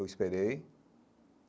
Eu esperei.